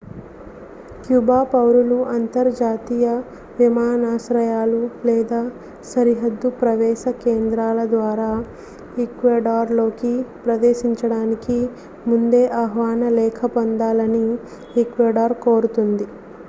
Cuba పౌరులు అంతర్జాతీయ విమానాశ్రయాలు లేదా సరిహద్దు ప్రవేశ కేంద్రాల ద్వారా ఈక్వెడార్లోకి ప్రవేశించడానికి ముందే ఆహ్వాన లేఖ పొందాలని ఈక్వెడార్ కోరుతోంది